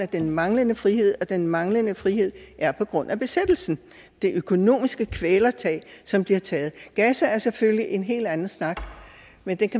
den manglende frihed og den manglende frihed er på grund af besættelsen det økonomiske kvælertag som bliver taget gaza er selvfølgelig en helt anden snak men